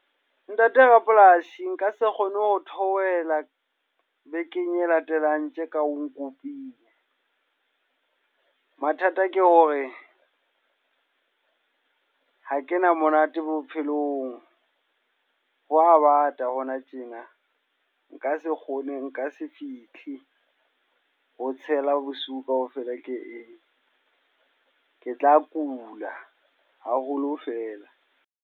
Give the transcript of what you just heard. Ntate rapolasi, nka se kgone ho theohela bekeng e latelang tje ka ho nkopile. Mathata ke hore ha ke na monate bophelong, ho a bata hona tjena. Nka se kgone nka se fihle ho tshela bosiu kaofela ke eme. Ke tla kula haholo fela.